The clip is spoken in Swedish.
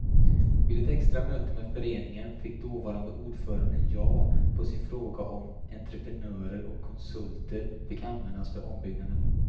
Vid ett extra möte med föreningen fick dåvarande ordföranden ja på sin fråga om entreprenörer och konsulter fick användas för ombyggnaden.